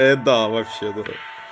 это да вообще дурак